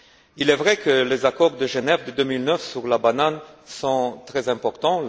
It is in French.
Il est vrai que les accords de Genève de 2009 sur la banane sont très importants.